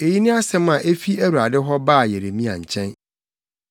Eyi ne asɛm a efi Awurade hɔ baa Yeremia nkyɛn: